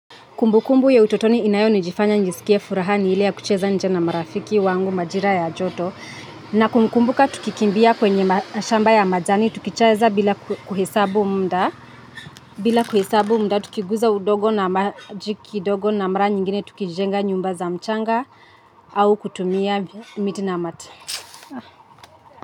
Kumbukumbu ya utotoni inayonijifanya njisikie furaha ni ile ya kucheza nje na marafiki wangu majira ya joto. Na kumbuka tukikimbia kwenye mashamba ya majani tukicheza bila kuhesabu mda tukiguza udogo na maji kidogo na mara nyingine tukijenga nyumba za mchanga au kutumia miti na mata.